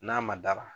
N'a ma dara